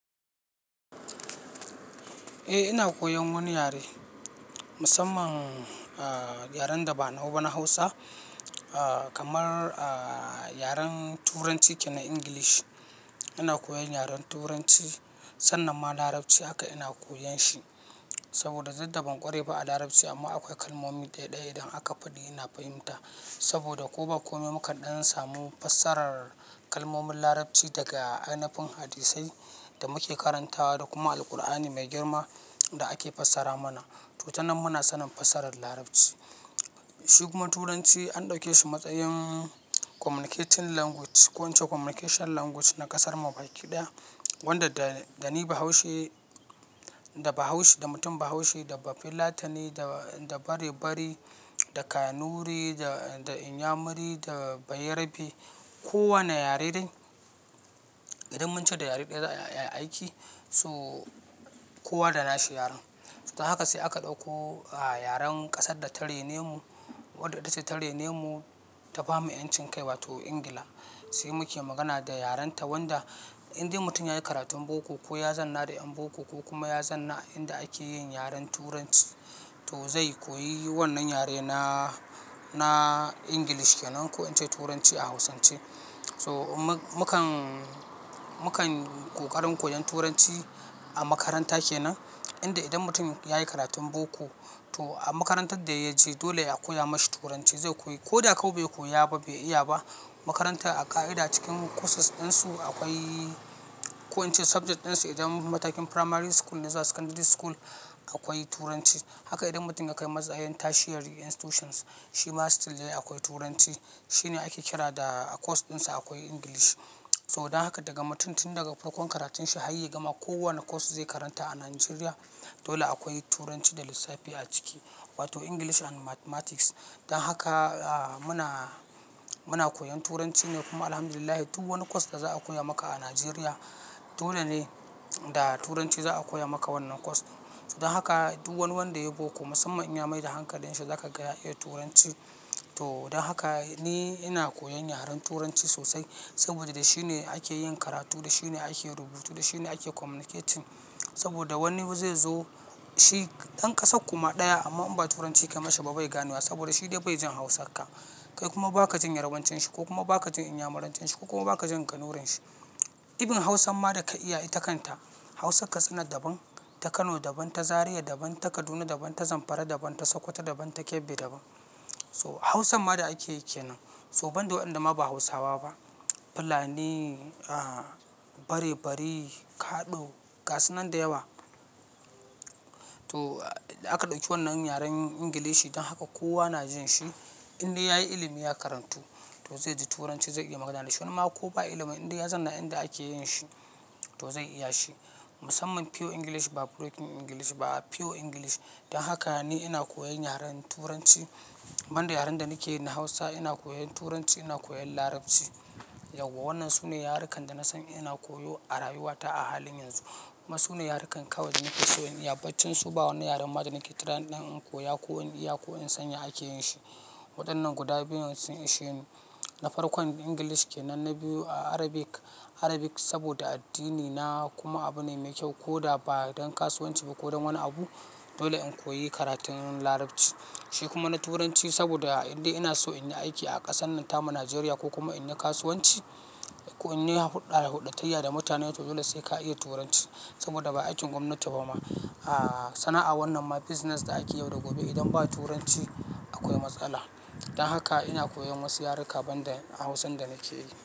Eh ina koyan wani yare, musamman yaren da ba nau bana Hausa kamar yaren Turanci kenan English. Ina koyan yaren Turanci sannan ma Larabci haka ina koyan shi saboda duddaban kware ba a Larabci amma akwai kalmomi ɗaya ɗaya idan aka faɗi ina fahimta saboda ko ba kome mu kadan samu fassarar kalmomin Larabci daga anafin hadisai da muke karantawa da kuma Alqur'ani mai girma da ake fassara mana. To, tanan muna sanin fassarar Larabci. Shi kuma turanci an dauke shi matsayin communicating language ko in ce communication language na kasar mu baki daya saboda duddaban kware ba a Larabci amma akwai kalmomi ɗaya ɗaya idan aka faɗi ina fahimta saboda ko ba kome mu kadan samu fassarar kalmomin Larabci daga anafin hadisai da muke karantawa da kuma Alqur'ani mai girma. Kowa ne yare dai idan mun ce da yare daya za ayi aiki so kowa da nashi yaren da, haka sai aka ɗauko yaren kasar da ta raine mu wadda ita ce ta raine mu ta bamu yancin kai wato England se muke magana da yaren ta wanda indai mutum yayi karatun boko ko ya zanna da yan boko ko kuma ya zanna a inda akeyin yaren Turanci to ze koyi wannan yare na na English kenan ko in ce turanci a hausance to mukan mukan kokarin koyan turanci a makaranta kenan inda idan mutum yayi karatun boko to a makarantar da ya je dole a koya mashi Turanci zai koyi. Ko da kobai koya ba bai iya ba makaranta a ƙa'ida cikin courses din su akwai ko in ce subject ɗin su idan matakin primary school ne zuwa secondary school akwai Turanci. Haka idan mutum ya kai matsayin tertiary institutions shi ma still dai akwai Turanci. Shi ne ake kira da course ɗinsa akwai English. To, don haka daga mutum tun daga farkon karatun shi har ya gama ko wane course zai karanta a Najeriya dole akwai Turanci da lissafi a ciki. Wato English and Mathematics. Don haka muna, muna koyan Turanci ne kuma Alhamdulillahi duk wani course da za a koya maka a Najeriya dole ne da Turanci za a koya maka wannan course. To, don haka duk wani wanda yayi boko musamman inyamai da hankalinshi za ka ga ya iya Turanci. To, don haka ni ina koyan yaren Turanci sosai saboda da shi ne ake yin karatu, da shi ne ake rubutu, da shi ne ake communicating. Saboda wani zai zo shi ɗan ƙasar kuma ɗaya amma in ba Turanci ka mashi ba bai gane wa saboda shi dai bai jin Hausa ka. Kai kuma ba ka jin Yarbancin shi ko kuma ba ka jin Inyamurancin shi ko kuma ba ka jin Kanurin shi. Irin hausan ma daka iya ita kanta hausan katsina daban ta kano daban ta Zaria daban. So, ban da waɗanda ma ba Hausawa ba. Fulani, aah, barebari, kaɗo, gasu nan da yawa. To, aka ɗauki wannan yaren Ingilishi don haka kowa na jin shi. Inda yayi ilimi ya karantu to zai ji Turanci zai iya magana da shi. Wani ma ko ba ilimin inda ya zanna inda ake yin shi to zai iya shi. Musamman pure English ba broken English ba pure English. Don haka ni ina koyan yaren Turanci. Ban yaren da nake yi na Hausa ina koyan Turanci, ina koyan Larabci. Yauwa wannan sune yarukan da na sani ina koyo a rayuwata a halin yanzu. Amma sune yarukan kawai da nake so in iya. Baccin su ba wani yaren ma da nake tananin in koya ko in iya ko in san ya ake yin shi. Waɗannan guda biyun sun isheni. Na farkon Ingilishi kenan na biyu Arabic. Arabic saboda addini na kuma abu ne mai kyau ko da ba don kasuwanci ba ko don wani abu dole in koyi karatun Larabci. Shi kuma na Turanci saboda indai ina so in yi aiki a ƙasar nan ta mu Najeriya ko kuma in yi kasuwanci ko in yi huɗɗa huɗɗatayya da mutane to dole sai ka iya Turanci saboda ba aikin gwamnati ba ma. Aah sana'a wannan ma business da ake yau da gobe idan ba Turanci akwai matsala. Don haka ina koyan wasu yaruka ban da Hausan da nake yi.